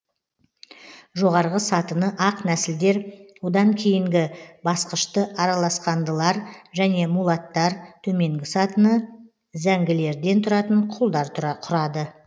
жоғарғы сатыны ақ нәсілдер одан кейінгі басқышты араласқандылар және мулаттар төменгі сатыны зәңгілерден тұратын құлдар құрады